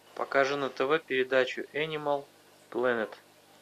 покажи на тв передачу энимал планет